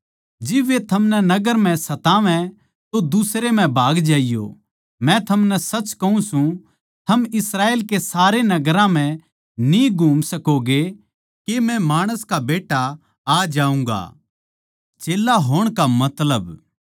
जिब वे थमनै नगर म्ह सतावै तो दुसरे म्ह भाग ज्याइयो मै थमनै सच कहूँ सूं थम इस्राएल के सारे नगरां म्ह न्ही घूम सकोगें के मै माणस का बेट्टा आ जाऊँगा